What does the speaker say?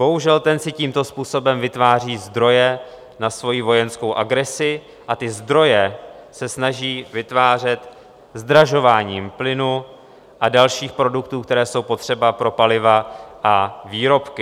Bohužel, ten si tímto způsobem vytváří zdroje na svoji vojenskou agresi a ty zdroje se snaží vytvářet zdražováním plynu a dalších produktů, které jsou potřeba pro paliva a výrobky.